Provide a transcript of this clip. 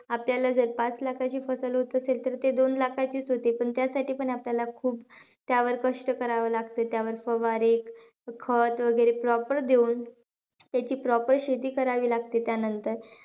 आपल्याला जर पाच लाखाची होत असेल तर ते दोन लाखाचीचं होते. पण, त्यासाठी पण आपल्याला खूप त्यावर कष्ट करावे लागतात. त्यावर फवारे, खत वैगरे proper देऊन त्याची proper शेती करावी लागते त्यांनतर.